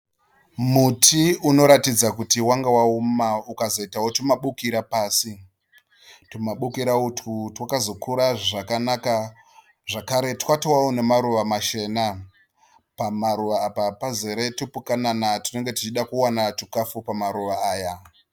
Muti unoratidza kuti wanga waoma ukazoitawo tumabukira pasi. Tumabukira utwu twakazokura zvakanaka, zvakare twatovawo namaruva machena. Pamaruva apa pazere tupukanana tunenge tuchida kuona chikafu pamaruva aya.